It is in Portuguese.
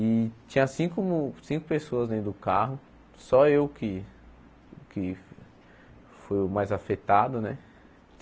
E tinha cinco cinco pessoas dentro do carro, só eu que que fui o mais afetado né.